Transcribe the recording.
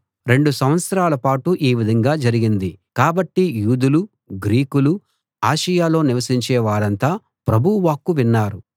రెండు సంవత్సరాల పాటు ఈ విధంగా జరిగింది కాబట్టి యూదులు గ్రీకులు ఆసియలో నివసించే వారంతా ప్రభువు వాక్కు విన్నారు